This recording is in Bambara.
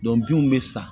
binw bɛ san